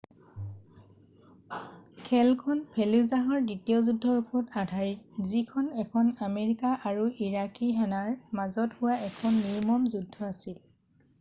খেলখন ফেলুজাহৰ দ্বিতীয় যুদ্ধৰ ওপৰত আধাৰিত যিখন এখন আমেৰিকাৰ আৰু ইৰাকী সেনাৰ মাজত হোৱা এখন নিৰ্মম যুদ্ধ আছিল